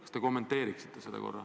Kas te kommenteeriksite seda?